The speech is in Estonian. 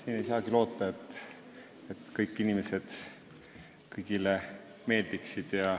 Ega ei saagi loota, et kõik inimesed kõigile meeldiksid.